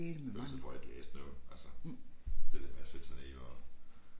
Ellers så får jeg ikke læst noget altså. Det der med at sætte sig ned og